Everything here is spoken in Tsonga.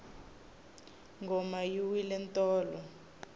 ngoma yi wile tolo